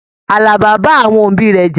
Àlàbá bá àwọn òbí rẹ já.